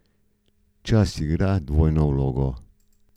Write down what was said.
Čas igra dvojno vlogo.